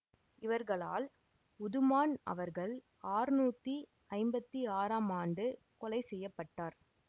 இவர்களால் உதுமான் அவர்கள் அறுநூற்றி ஐம்பத்தி ஆறாம் ஆண்டு கொலை செய்ய பட்டார்